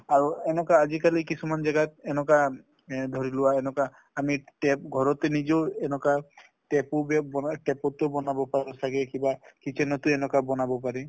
আৰু এনেকুৱা আজিকালি কিছুমান জাগাত এনেকুৱা এ ধৰি লোৱা এনেকুৱা আমি tap ঘৰতে নিজেও এনেকুৱা তেপো বেব বনা tap ও বনাব পাৰো চাগে কিবা kitchen টো এনেকুৱা বনাব পাৰি ।